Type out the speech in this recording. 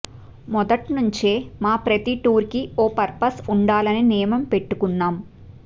మొదట్నుంచే మా ప్రతి టూర్కి ఓ పర్పస్ ఉండాలనే నియమం పెట్టుకున్నాం